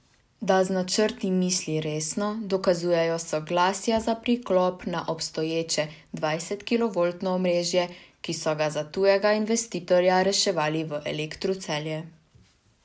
Da z načrti misli resno, dokazujejo soglasja za priklop na obstoječe dvajsetkilovoltno omrežje, ki so ga za tujega investitorja reševali v Elektru Celje.